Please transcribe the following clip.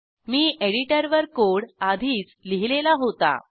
मी एडिटरवर कोड आधीच लिहिलेला होता